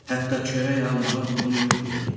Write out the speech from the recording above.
Hətta çörək almağa pulum yox idi.